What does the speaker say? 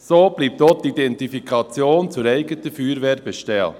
So bleibt auch die Identifikation zur eigenen Feuerwehr bestehen.